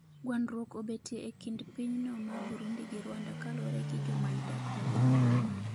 gwandruok obetie e kind piny no ma Burundi gi Rwanda kaluwre gi jomany dak mowuok Burundi